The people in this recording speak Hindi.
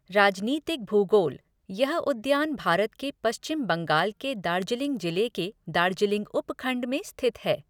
राजनीतिक भूगोलः यह उद्यान भारत के पश्चिम बंगाल के दार्जिलिंग जिले के दार्जिलिंग उपखंड में स्थित है।